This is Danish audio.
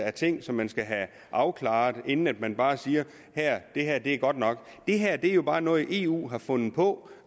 af ting som man skal have afklaret inden man bare siger det her er godt nok det her er jo bare noget eu har fundet på